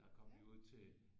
Jeg kom i øvrigt til